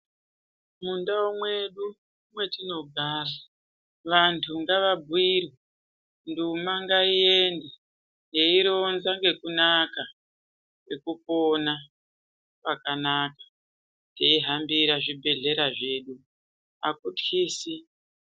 Mundau mwedu mwetinogara vantu ngavabhuirwe, nduma ngaiende yeironza ngekunaka kwekupona kwakanaka teihambira zvibhedhlera zvedu hakutyisi.